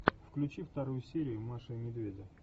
включи вторую серию маши и медведя